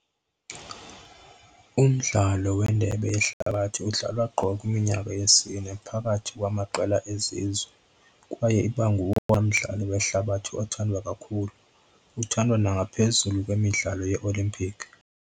Umdlalo wendebe yehlabathi udlalwa qho kumnyaka wesine phakathi kwamaqela ezizwe, kwaye iba ngowona mdlalo wehlabathi othandwa kakhulu, uthandwa nangaphezu kwalo wemidlalo yeOlympic.